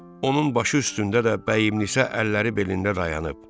Onun başı üstündə də bəyimlinsə əlləri belində dayanıb.